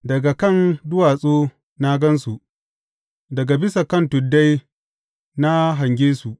Daga kan duwatsu na gan su, daga bisa kan tuddai na hange su.